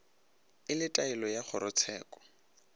e le taelo ya kgorotsheko